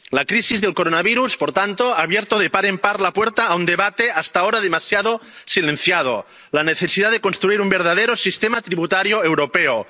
La crisis del coronavirus, por tanto, ha abierto de par en par la puerta a un debate hasta ahora demasiado silenciado la necesidad de construir un verdadero sistema tributario europeo.